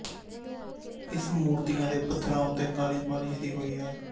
ਇਸ ਮੂਰਤੀਆਂ ਦੇ ਪੱਥਰਾਂ ਉੱਤੇ ਕਾਲੀ ਪਾਲਿਸ਼ ਦੀ ਹੋਈ ਹੈ